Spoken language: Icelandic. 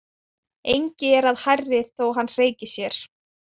Engi er að hærri þó hann hreyki sér.